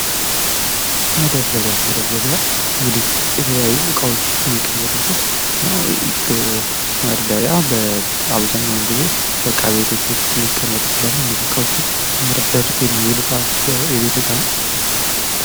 መደርደሪያ መደርደሪያ እንግዲህ የተለያዩ ዕቃዎች የሚቀመጡበት ነው። መደርደሪያ በአብዛኛው ጊዜ በዕቃ ቤቶች ውስጥ ሊገኝ ይችላል። እነዚህ እቃዎችን ለመደርደር የሚውል የቤት ዕቃ ነው።